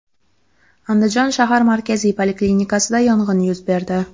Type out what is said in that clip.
Andijon shahar markaziy poliklinikasida yong‘in yuz berdi.